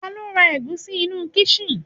tani o ra egusi inú kisin